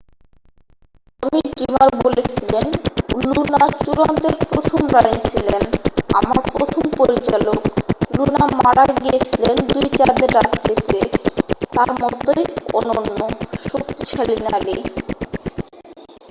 "টমি Dreamer বলেছিলেন "Luna চূড়ান্তের প্রথম রানী ছিলেন। আমার প্রথম পরিচালক। লুনা মারা গিয়েছিলেন দুই চাঁদের রাত্রিতে । তাঁর মতোই অনন্য। শক্তিশালী নারী "